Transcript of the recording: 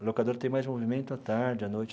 A locadora tem mais movimento à tarde, à noite.